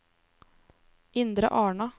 Indre Arna